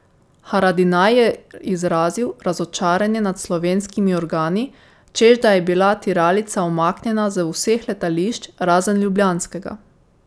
Haradinaj je izrazil razočaranje nad slovenskimi organi, češ da je bila tiralica umaknjena z vseh letališč razen ljubljanskega.